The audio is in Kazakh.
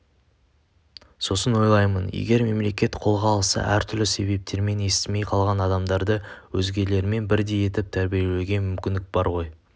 сосын ойлаймын егер мемлекет қолға алса әртүрлі себептермен естімей қалған адамдарды өзгелермен бірдей етіп тәрбиелеуге мүмкіндік бар ғой